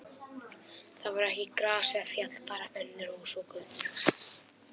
Þar var ekki gras eða fjall, bara önnur hús og götur.